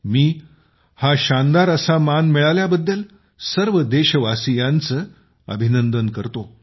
मी हा शानदार असा मान मिळाल्याबद्दल सर्व देशवासियांचं अभिनंदन करतो